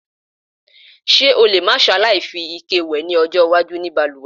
S̩e o lè má s̩aláì fi ike wè ló̩jó̩ iwájú ní balùwè̩?